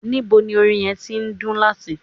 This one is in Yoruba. Nibo ni orin yẹn ti ndun lati?